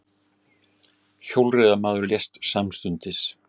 Hjólreiðamaður lést samstundis